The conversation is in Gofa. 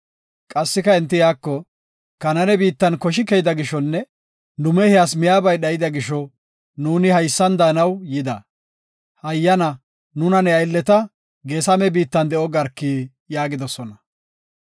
Qassika enti iyako, “Kanaane biittan koshi keyida gishonne nu mehiyas miyabay dhayda gisho, nuuni haysan daanaw yida. Hayyana, nuna ne aylleta Geesame biittan de7o garki” yaagidosona.